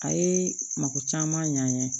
A ye mako caman ɲ'an ye